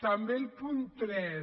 també el punt tres